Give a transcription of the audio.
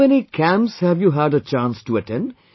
How many camps you have had a chance to attend